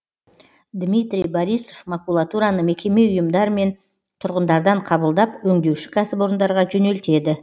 дмитрий борисов макулатураны мекеме ұйымдар мен тұрғындардан қабылдап өңдеуші кәсіпорындарға жөнелтеді